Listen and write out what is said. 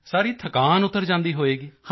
ਸਾਰੀ ਥਕਾਨ ਉਤਰ ਜਾਂਦੀ ਹੋਵੇਗੀ